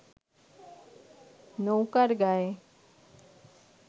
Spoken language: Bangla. নৌকার গায়